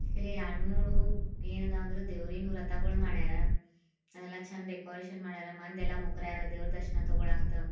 ಇಲ್ಲಿ ಎರಡ್ ಮೂರು ಏನ್ ಇದ್ವಅಂದ್ರೆ ದೇವ್ರಿನ ರಥಗಳು ಮಾಡರ ಅವೆಲ್ಲ ಚಂದ ಡೆಕೋರೇಷನ್ ಮಾಡರ್ ಮಂದೆಲ್ಲಾ ಮುಕ್ರಾರ್ ದೇವರ ದರ್ಶನಾ ತಗೊಂತಾವ್ರ.